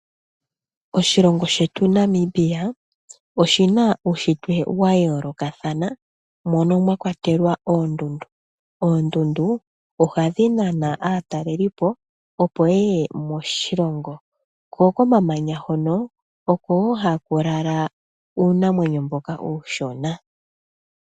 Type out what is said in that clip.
Oshilongo shetu Namibia oshina uushitwe wa yoolokathana. Mono mwakwatelwa oondundu. Oondundu ohadhi nana aatalelipo opo yeye moshilongo. Ko komamanya hono oko wo haku lala uunamwenyo mboka uushona.